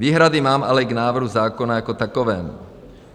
Výhrady mám ale k návrhu zákona jako takovému.